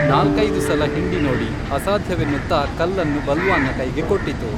ನಾಲ್ಕೈದು ಸಲ ಹಿಂಡಿನೋಡಿ, ಅಸಾಧ್ಯವೆನ್ನುತ್ತಾ ಕಲ್ಲನ್ನು ಬಲ್ವಾನ್ನ ಕೈಗೆ ಕೊಟ್ಟಿತು